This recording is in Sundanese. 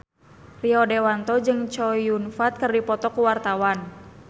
Rio Dewanto jeung Chow Yun Fat keur dipoto ku wartawan